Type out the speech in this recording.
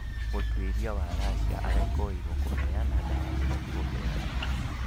Mũtuĩria kuma Russia arekũĩrwo kũheana dawa cia kũongerera hinya